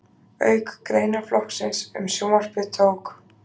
Auk greinaflokksins um sjónvarpið tók